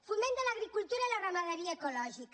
foment de l’agricultura i la ramaderia ecològica